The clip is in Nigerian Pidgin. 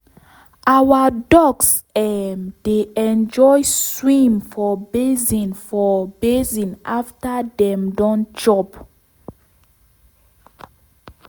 our ducks um dey enjoy swim for basin for basin after dem don chop.